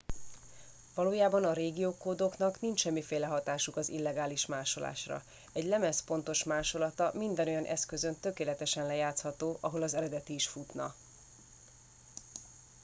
valójában a régiókódoknak nincs semmiféle hatásuk az illegális másolásra egy lemez pontos másolata minden olyan eszközön tökéletesen lejátszható ahol az eredeti is futna